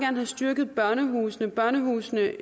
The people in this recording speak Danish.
have styrket børnehusene børnehusene